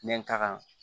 N bɛ taga